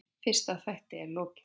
Fyrsta þætti er lokið.